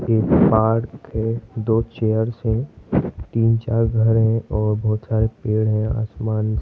ये पार्क है दो चेयर्स हैं तीन चार घर है और बहुत सारे पेड़ हैं आसमान --